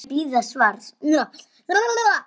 Á ég að bíða svars?